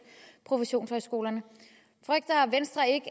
professionshøjskolerne frygter venstre ikke